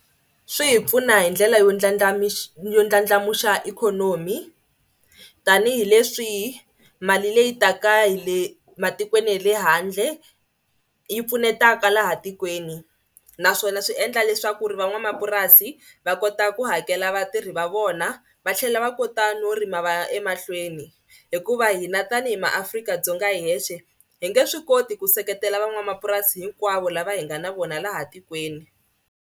Swi hi pfuna hi ndlela yo yo ndladlandlamuxa ikhonomi tanihileswi mali leyi taka hi le matikweni ya le handle yi pfunetaka laha tikweni naswona swi endla leswaku ri van'wamapurasi va kota ku hakela vatirhi va vona va tlhela va kota no rima va ya emahlweni hikuva hina tanihi maAfrika-Dzonga hi hexe hi nge swi koti ku seketela van'wamapurasi hinkwavo lava hi nga na vona laha tikweni.